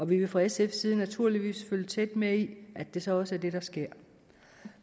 vi vil fra sfs side naturligvis følge tæt med i at det så også er det der sker